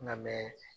Nka mɛ